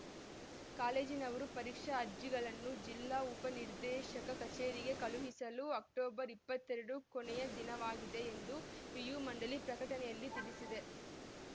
ಕಾಲೇಜಿನವರು ಪರೀಕ್ಷಾ ಅರ್ಜಿಗಳನ್ನು ಜಿಲ್ಲಾ ಉಪ ನಿರ್ದೇಶಕ ಕಚೇರಿಗೆ ಕಳುಹಿಸಲು ಅಕ್ಟೋಬರ್ ಇಪ್ಪತ್ತೆರಡು ಕೊನೆಯ ದಿನವಾಗಿದೆ ಎಂದು ಪಿಯು ಮಂಡಳಿ ಪ್ರಕಟಣೆಯಲ್ಲಿ ತಿಳಿಸಿದೆ